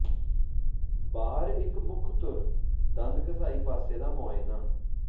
ਬਾਹਰ ਇੱਕ ਮੁੱਖ ਧੁਰ ਦੰਦ ਘਸਾਈ ਪਾਸੇ ਦਾ ਮੁਆਇਨਾ